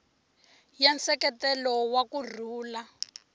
ya nseketelo wa ku rhula